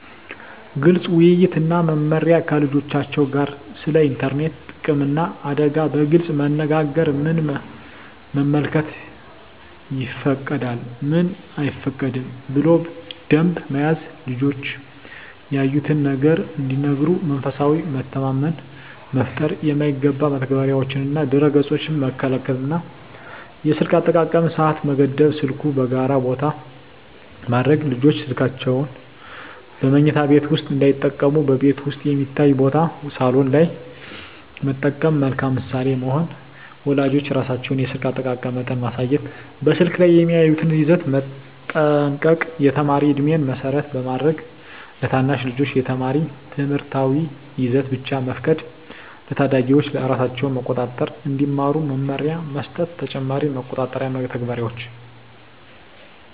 ግልፅ ውይይት እና መመሪያ ከልጆቻቸው ጋር ስለ ኢንተርኔት ጥቅምና አደጋ በግልፅ መነጋገር ምን መመልከት ይፈቀዳል፣ ምን አይፈቀድም ብሎ ደንብ መያዝ ልጆች ያዩትን ነገር እንዲነግሩ መንፈሳዊ መተማመን መፍጠር የማይገባ መተግበሪያዎችንና ድረ-ገፆችን መከልከል የስልክ አጠቃቀም ሰዓት መገደብ ስልኩን በጋራ ቦታ ማድረግ ልጆች ስልካቸውን በመኝታ ቤት ውስጥ እንዳይጠቀሙ በቤት ውስጥ የሚታይ ቦታ (ሳሎን) ላይ መጠቀም መልካም ምሳሌ መሆን ወላጆች ራሳቸው የስልክ አጠቃቀም መጠን ማሳየት በስልክ ላይ የሚያዩትን ይዘት መጠንቀቅ የተማሪ ዕድሜን መሰረት ማድረግ ለታናሽ ልጆች የተማሪ ትምህርታዊ ይዘት ብቻ መፍቀድ ለታዳጊዎች ራሳቸውን መቆጣጠር እንዲማሩ መመሪያ መስጠት ተጨማሪ መቆጣጠሪያ መተግበሪያዎች